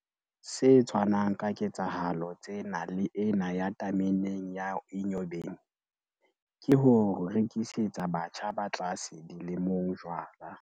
Se tshwanang ka ketsahalo tsena le ena ya tameneng ya Enyobeni, ke ho rekisetsa batjha ba tlase dilemong jwala.